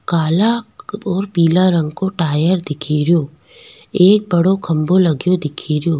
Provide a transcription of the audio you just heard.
काला और पीला रंग को टायर दिखेरो एक बड़ो खम्भों लग्यो दिखेरो।